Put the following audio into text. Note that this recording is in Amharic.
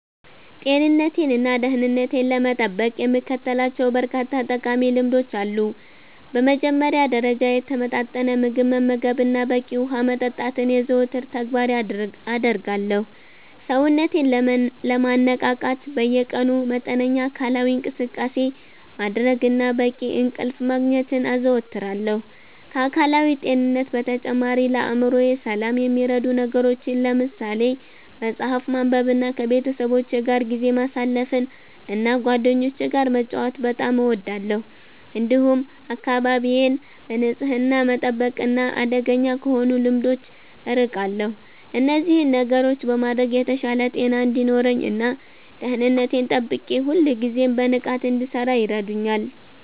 ጤንነቴንና ደህንነቴን ለመጠበቅ የምከተላቸው በርካታ ጠቃሚ ልምዶች አሉ። በመጀመሪያ ደረጃ፣ የተመጣጠነ ምግብ መመገብንና በቂ ውሃ መጠጣትን የዘወትር ተግባሬ አደርጋለሁ። ሰውነቴን ለማነቃቃት በየቀኑ መጠነኛ አካላዊ እንቅስቃሴ ማድረግንና በቂ እንቅልፍ ማግኘትን አዘወትራለሁ። ከአካላዊ ጤንነት በተጨማሪ፣ ለአእምሮዬ ሰላም የሚረዱ ነገሮችን ለምሳሌ መጽሐፍ ማንበብንና ከቤተሰቦቼ ጋር ጊዜ ማሳለፍን እና ጓደኞቼ ጋር መጫወት በጣም እወዳለሁ። እንዲሁም አካባቢዬን በንጽህና መጠበቅና አደገኛ ከሆኑ ልምዶች አርቃለሁ። እነዚህን ነገሮች በማድረግ የተሻለ ጤና እንዲኖረኝ እና ደህንነቴን ጠብቄ ሁልጊዜም በንቃት እንድሠራ ይረዱኛል።